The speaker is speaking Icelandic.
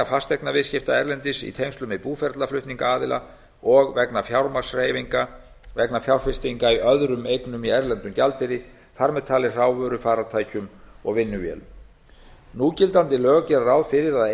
fasteignaviðskipta erlendis í tengslum við búferlaflutninga aðila og vegna fjármagnshreyfinga vegna fjárfestinga í öðrum eignum í erlendum gjaldeyri þar með talið hrávöru farartækjum og vinnuvélum núgildandi lög gera ráð fyrir að